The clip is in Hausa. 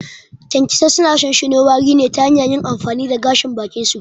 Kyankyasai suna shinshino wari ne ta hanyar yin amfani da gashin bakinsu.